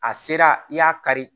A sera i y'a kari